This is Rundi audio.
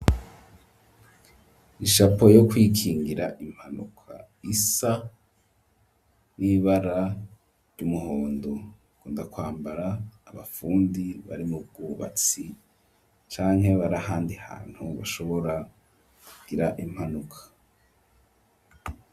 Ishapo yo kwikingira impanuka isa n'ibara ry'umuhondo bakunda kwambara abafundi bari mu bwubatsi canke barahandi hantu bashobora kugira impanuka.